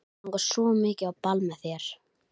Mig langar svo mikið á ball með þér.